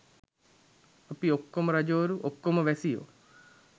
අපි ඔක්කොම රජවරු ඔක්කොම වැසියෝ